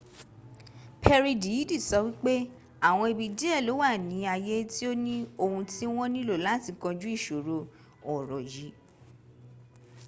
perry dìídì sọ wípé àwọn ibi díẹ̀ ló wà ni ayé tí ó ni ohun tí wọn nílò láti kọjú ìṣòro ọ̀rọ̀ yì